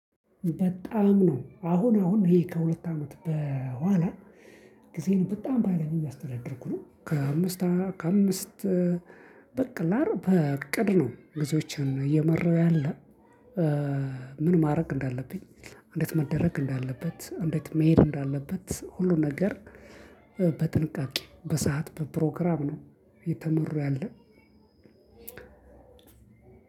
በጣም ነው አሁን አሁን ይሄ ከሁለት አመት በኋላ ጊዜን በጣም በሃይለኛው እያስተዳደርኩ ነው። ከአምስት ከአምስት በቅላር በእቅድ ነው ብዙዎችን እየመራሁ ያለ። ምን ማድረግ እንዳለብኝ፣ እንዴት መደረግ እንዳለበት፣ እንዴት መሄድ እንዳለበት ሁሉ ነገር በጥንቃቄ፣ በሰአት፣ በፕሮግራም ነው እየተመራሁ ያለ።